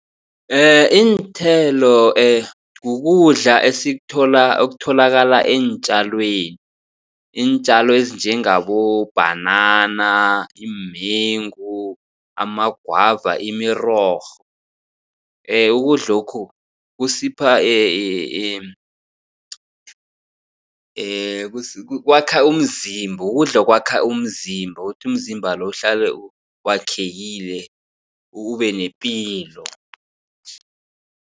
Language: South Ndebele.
Iinthelo kukudla esikuthola okutholakala eentjalweni. Iintjalo ezinjengabo bhanana, iimengu, amagwava, imirorho ukudlokhu kusipha kwakha umzimba ukudla okwakha umzimba ukuthi umzimba lo uhlale wakhekile ube nepilo.